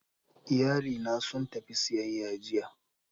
Iyalina sun tafi siyayya jiya